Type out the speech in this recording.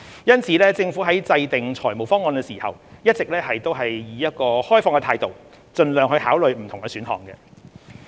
因此，政府在制訂財務方案時，一直持有開放態度，盡量考慮不同的選項。